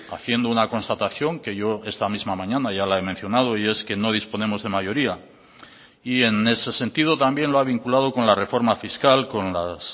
haciendo una constatación que yo esta misma mañana ya la he mencionado y es que no disponemos de mayoría y en ese sentido también lo ha vinculado con la reforma fiscal con las